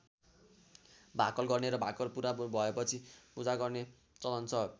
भाकल गर्ने र भाकल पूरा भएपछि पूजा गर्ने चलन छ।